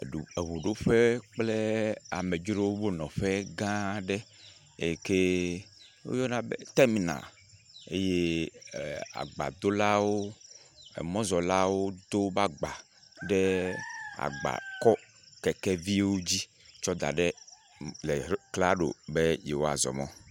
Eŋuɖoƒe kple amedzrowonɔƒe gã aɖe. Eyi ke woyɔna be teminal eye agbadolawo, emɔzɔlawo do woƒe agba ɖe agbakɔkekeviwo dzi tsɔ da ɖe le klalo be yewoa zɔ mɔ.